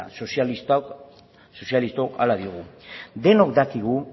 horrela sozialistok hala diogu denok dakigu